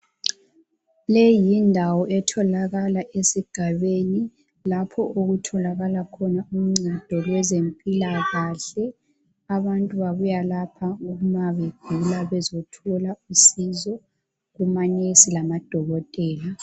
Leyi yindawo etholakalayo esigabeni lapho okutholakala khona uncedo lwezempilakahle. Abantu babuya lapha ma begula bezothola usizo kumanesi lamadokotela.